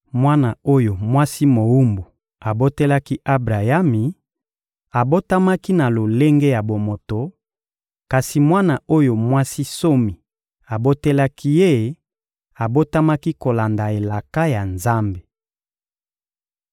Mwana oyo mwasi mowumbu abotelaki Abrayami abotamaki na lolenge ya bomoto, kasi mwana oyo mwasi nsomi abotelaki ye abotamaki kolanda elaka ya Nzambe.